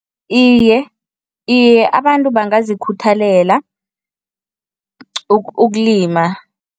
Iye. Iye, abantu bangazikhuthalela ukulima.